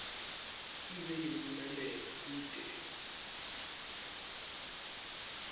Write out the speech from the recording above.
ibe yimphumelelo kute